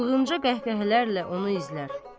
Çılğınca qəhqəhələrlə onu izlər.